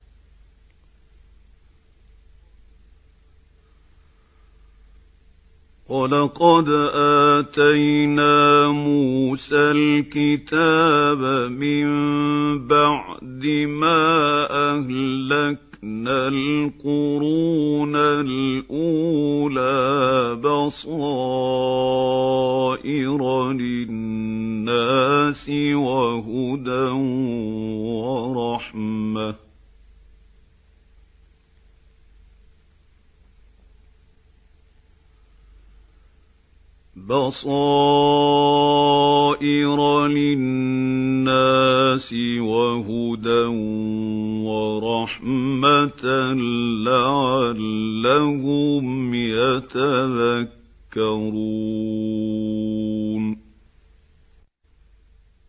وَلَقَدْ آتَيْنَا مُوسَى الْكِتَابَ مِن بَعْدِ مَا أَهْلَكْنَا الْقُرُونَ الْأُولَىٰ بَصَائِرَ لِلنَّاسِ وَهُدًى وَرَحْمَةً لَّعَلَّهُمْ يَتَذَكَّرُونَ